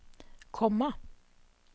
komma